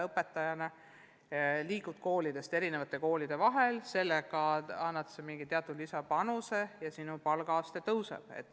Õpetaja liigub ehk eri koolide vahel, annab sellega mingi lisapanuse ja palgaaste tõuseb.